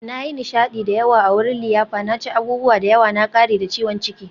Na yi nishadi da yawa a wurin liyafa, na ci abubuwa da yawa, na ƙare da ciwon ciki.